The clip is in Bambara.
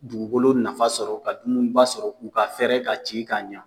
Dugukolo nafa sɔrɔ ka dumuniba sɔrɔ u ka fɛrɛ ka ci ka ɲɛ